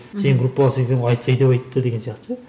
сенің группаласың екен ғой айтсай деп айтты деген сияқты ше